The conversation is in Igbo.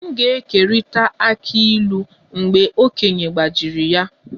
M ga-ekerịta akị ịlu mgbe okenye gbajiri ya